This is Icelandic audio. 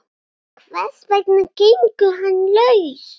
Hvers vegna gengur hann laus?